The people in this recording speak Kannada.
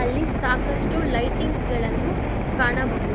ಅಲ್ಲಿ ಸಾಕಷ್ಟು ಲೈಟಿಂಗ್ಸ್ ಗಳನ್ನು ಕಾಣಬಹುದು.